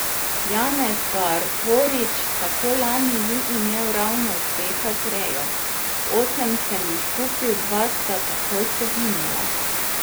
Janez Barborič tako lani ni imel ravno uspeha z rejo: 'Osem sem jih kupil, dva sta takoj poginila.